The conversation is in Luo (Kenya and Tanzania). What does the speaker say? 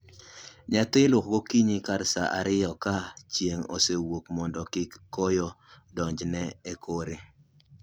Nyathi iluoko gokinyi kar saa ariyo ka chieng' osewuok mondo kik koyo donj ne e kore